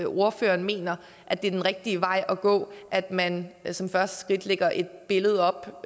ordføreren mener at det er den rigtige vej at gå at man som det første skridt lægger et billede